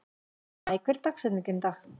Maj, hver er dagsetningin í dag?